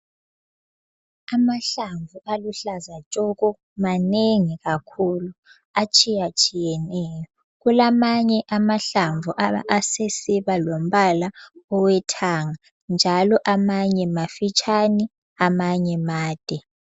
Amahlamvu aluhlaza tshoko manengi kakhulu atshiyatshiyeneyo kulamanye amahlamvu asesiba lombala owethanga njalo amanye mafitshane amanye made